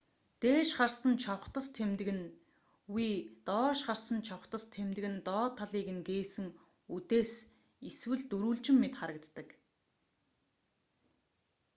дээш харсан чавхдас тэмдэг нь v доош харсан чавхдас тэмдэг нь доод талыг нь гээсэн үдээс эсвэл дөрвөлжин мэт харагддаг